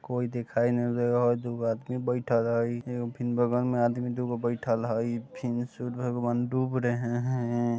कोई दिखाई नहीं दे रहा है दू गो आदमी बैठल हय एगो फिन बगल में आदमी दू गो बैठल हय फिन सूर्य भगवान डूब रहे हय।